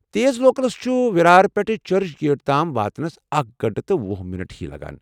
تیز لوکلس چھُ وِرار پٮ۪ٹھہٕ چرچ گیٹ تام واتنس اكھ گنٹہٕ تہٕ وُہ مِنٹ ہی لگان۔